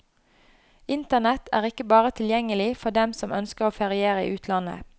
Internett er ikke bare tilgjengelig for dem som ønsker å feriere i utlandet.